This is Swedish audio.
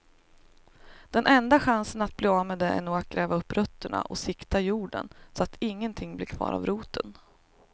Den enda chansen att bli av med det är nog att gräva upp rötterna och sikta jorden så att ingenting blir kvar av roten.